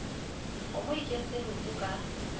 kgomo e kentse leoto ka